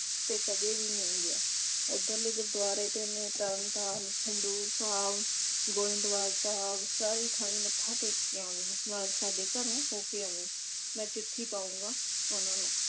ਤੇ ਕਦੇ ਵੀ ਨਹੀ ਗਿਆ। ਉਧਰਲੇ ਗੁਰਦੁਆਰੇ ਤਿੰਨੇ ਤਰਨਤਾਰਨ, ਖਡੂਰ ਸਾਹਿਬ ਗੋਇੰਦਵਾਲ ਸਾਹਿਬ ਸਾਰੇ ਥਾਈ ਮੱਥਾ ਟੇਕ ਕੇ ਆਵੀ ਨਾਲ ਸਾਡੇ ਘਰੋਂ ਹੋ ਕੇ ਆਵੀ ਮੈਂ ਚਿੱਠੀ ਪਾਊਗਾ ਉਨ੍ਹਾਂ ਨੂੰ